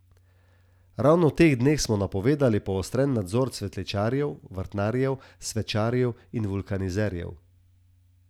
Ravno v teh dneh smo napovedali poostren nadzor cvetličarjev, vrtnarjev, svečarjev in vulkanizerjev.